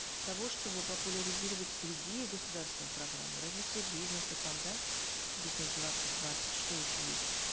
того чтобы популяризировать другие государственные программы развитие бизнеса там да бизнес двадцать двадцать что еще есть